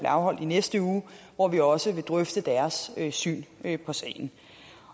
afholdt i næste uge hvor vi også vil drøfte deres syn på sagen